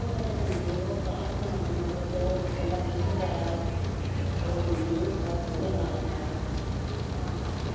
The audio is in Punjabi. ਬੜੇ ਚੰਗੇ ਨੇ ਓਹ ਅਕਾਸ਼ ਦੇ ਮਗਰ ਮਗਰ ਅੱਛਾ ਜਿਦਣ ਦਾ ਕੈਸੇ ਹੋਇਆ ਵਾ ਉਹ ਮਨਜੀਤ ਬਸ ਉਹਦੇ ਨਾਲ਼ ਈ ਬਸ